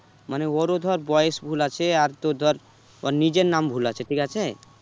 মানে ওরও ধর বয়েস ভুল আছে আর তোর ধর ওর নিজের নাম ভুল আছে ঠিক আছে?